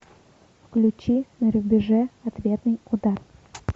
включи на рубеже ответный удар